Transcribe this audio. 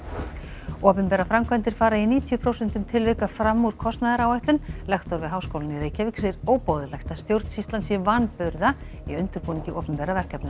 opinberar framkvæmdir fara í níutíu prósentum tilvika fram úr kostnaðaráætlun lektor við Háskólann í Reykjavík segir óboðlegt að stjórnsýslan sé vanburða í undirbúningi opinberra verkefna